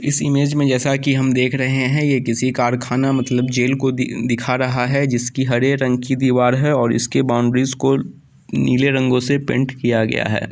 इस इमेज में जैसा की हम देख रहे है ये किसी कारखाना मतलब जेल को दी दिखा रहा है जिसकी हरे रंग की दीवाल है और उसकी बॉउंड्रीज़ को नीले रंगों से पेंट किया गया है।